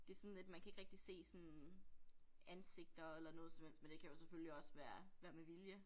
Det sådan lidt man kan ikke rigtig se sådan ansigter eller noget som helst men det kan jo selvfølgelig også være være med vilje